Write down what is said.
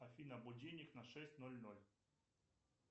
афина будильник на шесть ноль ноль